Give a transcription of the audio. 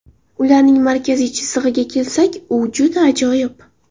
Ularning markaziy chizig‘iga kelsak, u juda ajoyib.